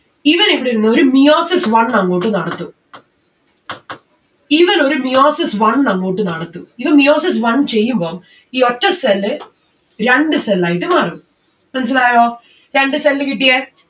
ഇവൻ ഇവിടെ ഇരുന്ന് ഒരു meiosis one അങ്ങോട്ട് നടത്തും. ഇവനൊരു meiosis one അങ്ങോട്ട് നടത്തും. ഇവൻ meiosis one ചെയ്യുമ്പം ഈ ഒറ്റ cell രണ്ട്‌ cell ആയിട്ട് മാറും. മനസ്സിലായോ? രണ്ട്‌ cell കിട്ടിയെ